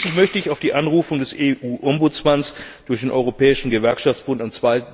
Schließlich möchte ich auf die Anrufung des EU Bürgerbeauftragten durch den Europäischen Gewerkschaftsbund am